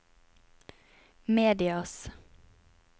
medias